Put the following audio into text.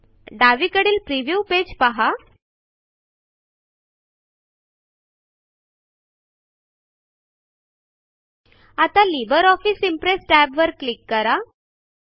डावीकडील preview page पहा आताLibre ऑफिस इम्प्रेस टॅबवर क्लिक करा